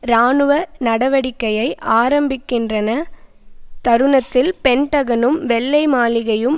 இராணுவ நடவடிக்கையை ஆரம்பிக்கின்றன தருணத்தில் பென்டகனும் வெள்ளை மாளிகையும்